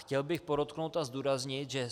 Chtěl bych podotknout a zdůraznit, že